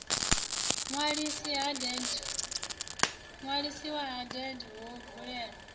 ṅwalisi ha deeds ho vulelwa